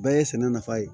Bɛɛ ye sɛnɛ nafa ye